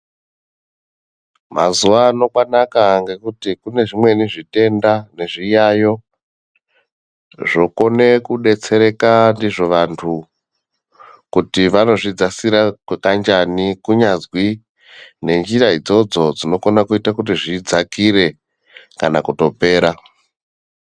Mazuwaano kwanaka ngekuti kune zvimweni zvitenda nezviyaiyo ,zvokone kudetsereka ndizvo vantu, kuti vanozvidzasira kukanjani ,kunyazwi nenjira idzodzo dzinokona kuite kuti zvidzakire kana kutopera.